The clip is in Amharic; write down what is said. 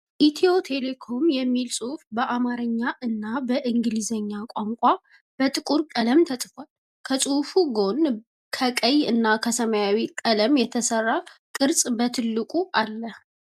"ኢትዮ ቴሌኮም" የሚል ጽሁፍ በአማረኛ እና በእንግሊዘኛ ቋንቋ በጥቁር ቀለም ተጽፈዋል። ከጽሁፉ ጎን ከቀይ እና ሰማያዊ ቀለም የተሰራ ቅርጽ በትልቁ አለ።